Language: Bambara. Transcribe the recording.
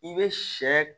I bɛ sɛ